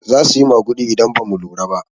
Zasu yi maguɗi idan bamu lura ba.